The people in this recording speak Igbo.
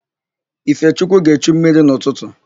Ifechukwu ga-echu mmiri n'ụtụtụ.